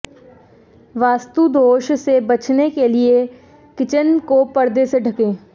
वास्तुदोष से बचने के लिए किचन को पर्दे से ढकें